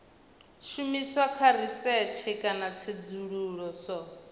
shumiswa kha risetshe kana tsedzuluso